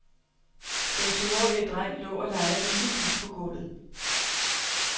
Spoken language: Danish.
Den toårige dreng lå og legede med sin bil på gulvet.